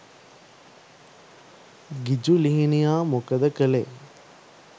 ගිජු ලිහිණියා මොකද කළේ